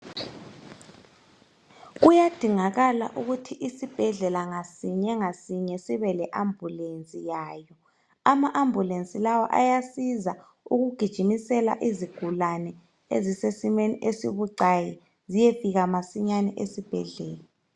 Kuyadingakala ukuthi isibhedlela sinye ngasinye sibe le ambulensi yalo ama ambulensi lawa ayasiza ukugijimisela izigulane ezilesimo esibucaki ziyefika masinya esibhedlela.